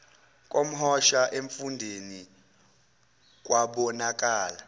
komhosha emfundeni kwabonakala